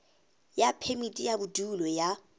ya phemiti ya bodulo ya